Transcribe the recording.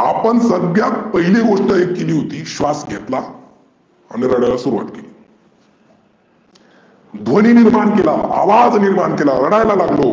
आपण सध्या पहिली व्यक्त केली होती स्वास घेतला. आणि रडायला सुरूवात केली. ध्वनी निर्मान केला, आवाज निर्मान केला, रडायला लागलो.